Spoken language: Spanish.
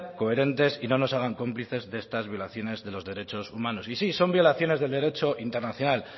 coherentes y no nos hagan cómplices de estas violaciones de los derechos humanos y sí son violaciones del derecho internacional